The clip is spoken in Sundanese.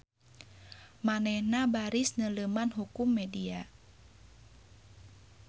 Manehna baris neuleuman hukum media.